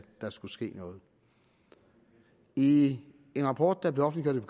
der skulle ske noget i en rapport der blev offentliggjort